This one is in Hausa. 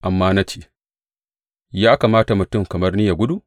Amma na ce, Ya kamata mutum kamar ni yă gudu?